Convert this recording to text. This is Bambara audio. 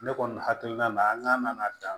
Ne kɔni hakilina na an ka na dan